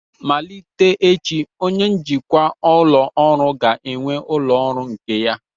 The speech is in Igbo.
Malite echi, onye njikwa ụlọ ọrụ ga-enwe ụlọ ọrụ nke ya